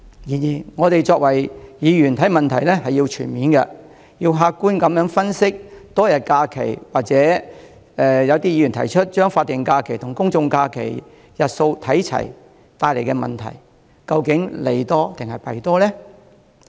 然而，我們身為議員，看問題需要全面，要客觀分析多一天假期，或有議員提出把法定假日和公眾假期的日數看齊所帶來的問題，究竟利多還是弊多呢？